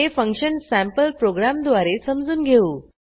हे फंक्शनसँपल प्रोग्रॅमद्वारे समजून घेऊ